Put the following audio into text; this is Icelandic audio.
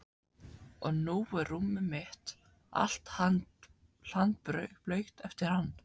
Og nú er rúmið mitt allt hlandblautt eftir hann.